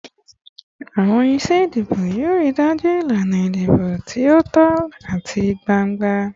Awọn iṣe idibo yoo rii daju ilana idibo ti o tọ ati gbangba